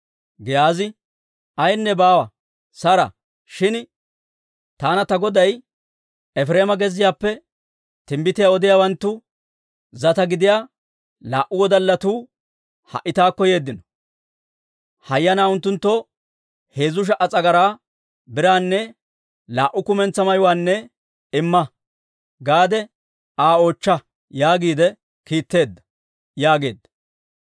Giyaazi, «Ayenne baawa; sara! Shin taana ta goday, ‹ «Efireema gezziyaappe timbbitiyaa odiyaawanttu zata gidiyaa laa"u wodallatuu ha"i taakko yeeddino. Hayyanaa unttunttoo heezzu sha"a s'agaraa biraanne laa"u kumentsaa mayuwaanne imma» gaade Aa oochcha› yaagiide kiitteedda» yaageedda.